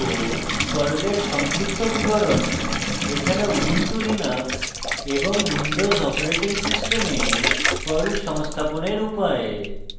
পর্লের সংক্ষিপ্ত বিবরণ এছাড়া ubuntulinux এবং windows operating system perl সংস্থাপনের উপায়